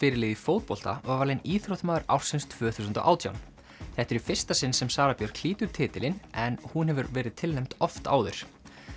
í fótbolta var valin íþróttamaður ársins tvö þúsund og átján þetta er í fyrsta sinn sem Sara Björk hlýtur titilinn en hún hefur verið tilnefnd oft áður